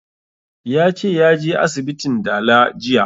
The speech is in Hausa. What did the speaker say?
Ya ce ya je asibitin dala jiya